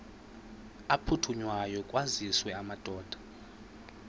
aphuthunywayo kwaziswe amadoda